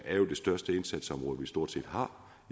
er det største indsatsområde vi stort set har